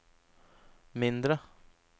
mindre